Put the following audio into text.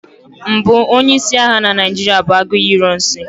mbụ onye-isi agha na Naijiria bụ Aguiyi ironsi